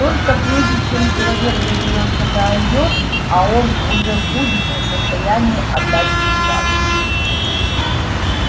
только прежде чем человек доберётся до озёр а он уже будет не в состоянии отдать приказ